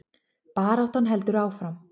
Baráttan heldur áfram